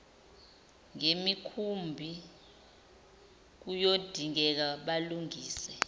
ngemikhumbi kuyodingeka balungise